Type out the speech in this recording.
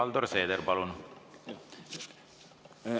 Helir-Valdor Seeder, palun!